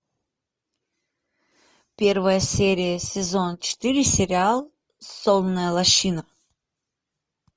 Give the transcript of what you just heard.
первая серия сезон четыре сериал сонная лощина